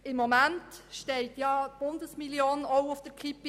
Im Moment steht ja auch die Bundesmillion auf der Kippe.